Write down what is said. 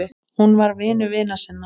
Hún var vinur vina sinna.